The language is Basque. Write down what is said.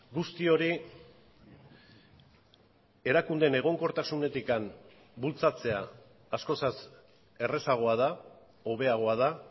guzti hori erakundeen egonkortasunetik bultzatzea askozaz errazagoa da hobeagoa da